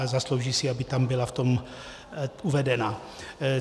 A zaslouží si, aby tam byla v tom uvedena.